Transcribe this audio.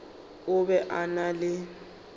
o be a na le